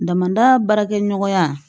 Damada baarakɛ ɲɔgɔnya